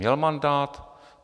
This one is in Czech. Měl mandát?